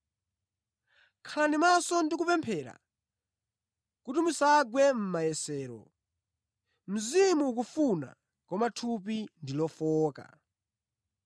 Khalani maso ndi kupemphera kuti musagwe mʼmayesero. Mzimu ukufuna koma thupi ndi lofowoka.”